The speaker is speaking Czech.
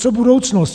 Co budoucnost?